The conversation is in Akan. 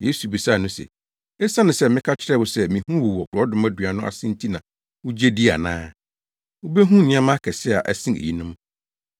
Yesu bisaa no se, “Esiane sɛ meka kyerɛɛ wo sɛ mihuu wo wɔ borɔdɔma dua no ase nti na wugye di ana? Wubehu nneɛma akɛse a ɛsen eyinom.